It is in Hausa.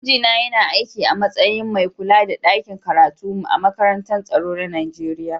Mijina yana aikin a matsayin mai kulla da ɗakin karatu a makarantar tsaro na Nijeriya.